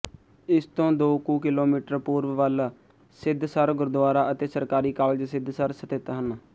ਇਸਤੋਂ ਦੋ ਕੁ ਕਿਲੋਮੀਟਰ ਪੂਰਬ ਵੱਲ ਸਿਧਸਰ ਗੁਰਦੁਆਰਾ ਅਤੇ ਸਰਕਾਰੀ ਕਾਲਜ ਸਿਧਸਰ ਸਥਿੱਤ ਹਨ